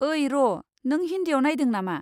ओई र', नों हिन्दीआव नायदों नामा?